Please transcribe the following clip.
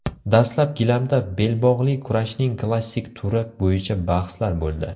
Dastlab gilamda belbog‘li kurashning klassik turi bo‘yicha bahslar bo‘ldi.